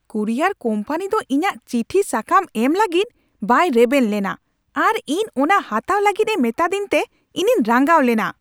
Courier company ᱫᱚ ᱤᱧᱟᱹᱜ ᱪᱤᱴᱷᱤ ᱥᱟᱠᱟᱢ ᱮᱢ ᱞᱟᱹᱜᱤᱫ ᱵᱟᱭ ᱨᱮᱵᱮᱱ ᱞᱮᱱᱟ ᱟᱨ ᱤᱧ ᱚᱱᱟ ᱦᱟᱛᱟᱣ ᱞᱟᱹᱜᱤᱫ ᱮ ᱢᱮᱛᱟ ᱫᱤᱧᱛᱮ ᱤᱧᱤᱧ ᱨᱟᱸᱜᱟᱣ ᱞᱮᱱᱟ ᱾